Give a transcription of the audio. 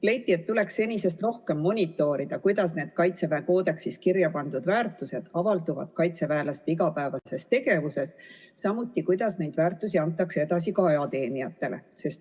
Leiti, et tuleks senisest rohkem monitoorida, kuidas need Kaitseväe koodeksis kirja pandud väärtused avalduvad kaitseväelaste igapäevases tegevuses, samuti, kuidas neid väärtusi antakse edasi ajateenijatele.